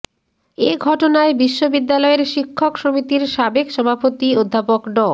এ ঘটনায় বিশ্ববিদ্যালয়ের শিক্ষক সমিতির সাবেক সভাপতি অধ্যাপক ড